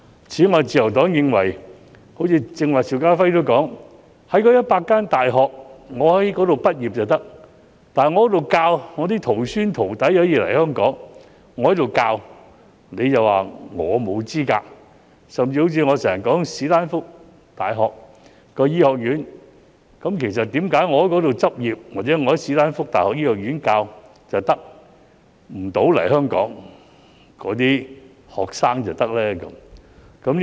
此外，自由黨認為，正如剛才邵家輝議員提到，在該100間大學畢業的便可以，在那裏學習的徒孫、徒弟可以來香港，但在那裏教學的卻被說成沒有資格，甚至我經常所說的史丹福大學的醫學院，為何在那裏執業或在史丹福大學醫學院任教的不能來香港，但其學生卻可以呢？